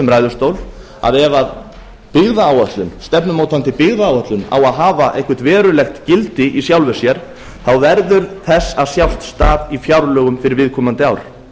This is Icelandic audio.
ræðustól að ef byggðaáætlun stefnumótandi byggðaáætlun á að hafa eitthvert verulegt gildi í sjálfu sér verður þess að sjást stað í fjárlögum fyrir viðkomandi ár